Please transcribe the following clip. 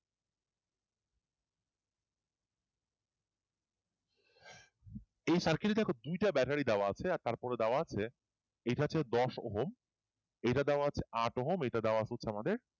এই circle টা এখন দুইটা ব্যাটারি দেওয়া আছে আর তারপরে দেওয়া আছে এইটা আছে দশ ওহম এটার দেওয়া আছে আট ওহম এটার দেওয়া আছে হচ্ছে আমাদের